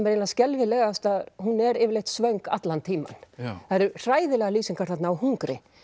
eiginlega skelfilegast að hún er yfirleitt svöng allan tímann það eru hræðilegar lýsingar þarna á hungri